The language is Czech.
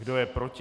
Kdo je proti?